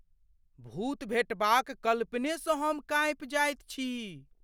भूत भेटबाक कल्पनेसँ हम काँपि जाइत छी।